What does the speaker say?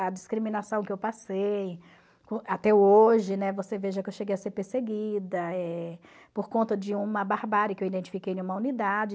A discriminação que eu passei, até hoje, né, você veja que eu cheguei a ser perseguida por conta de uma barbárie que eu identifiquei em uma unidade.